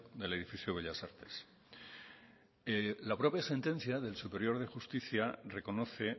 del edificio bellas artes la propia sentencia del tribunal superior de justicia reconoce